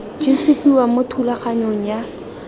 di supiwa mo thulaganyong ya